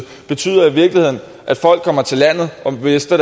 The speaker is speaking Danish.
betyder i virkeligheden at folk kommer til landet og mister